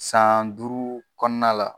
San duuru kɔnɔna la